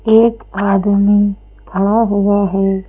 एक आदमी खड़ा हुआ है।